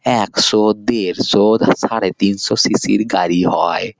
একশো দেড়শো সাড়ে তিনশো সি.সি -এর গাড়ি হয়।